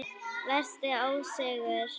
Versti ósigur?